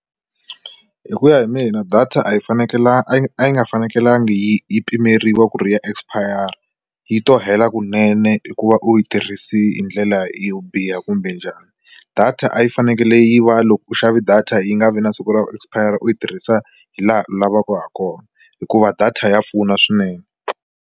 Hi ku ya hi mina data a yi a yi a yi nga fanekelanga yi yi pimeriwa ku ri ya expire yi to hela kunene hi ku va u yi tirhisa hi ndlela yihi yo biha kumbe njhani, data a yi fanekele yi va loko u xave data yi nga vi na siku ro expire u yi tirhisa hi laha u lavaka ha kona hikuva data ya pfuna swinene.